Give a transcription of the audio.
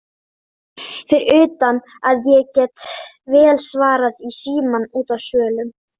Fyrir utan að ég get vel svarað í símann úti á svölum.